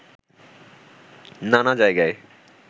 নানা জায়গায়